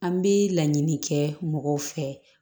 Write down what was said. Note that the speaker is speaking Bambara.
An bɛ laɲini kɛ mɔgɔw fɛ